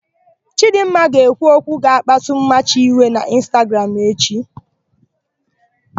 Chidịmma ga-ekwu okwu ga-akpasu Mmachi iwe n'ịnstagram echi.